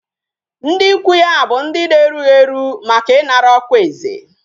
Ndi ikwu ya bu ndi na erughi eru, Maka inara okwa eze